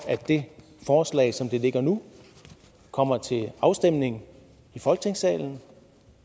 at forslaget som det ligger nu kommer til afstemning i folketingssalen